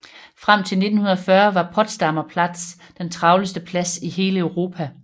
Frem til 1940 var Potsdamer Platz den travleste plads i hele Europa